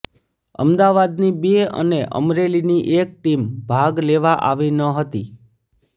અમદાવાદની બે અને અમરેલીની એક ટીમ ભાગ લેવા આવી ન હતી